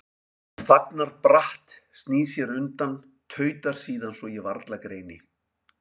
Hún þagnar bratt, snýr sér undan, tautar síðan svo ég varla greini